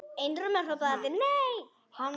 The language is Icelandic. Einróma hrópuðu allir: NEI!